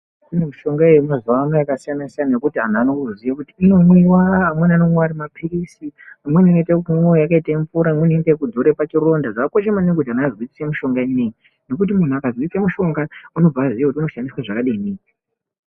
Kune mishonga yemazuva yekuti vanhu Vaya vanoziva kuti inomwiwa amweni anomwiwa Ari mapirizi Imweni inoita kumwiwa yakaita mvura imweni inozorwa pachironda zvakakosha maningi kuti antu azwisise mishonga inei nekuti muntu akazwisisa mishonga unobva aziva kuti unoshandiswa zvakadini.